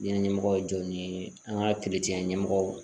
Ɲɛnajɛ ɲɛmɔgɔw jɔ ni an ka ɲɛmɔgɔw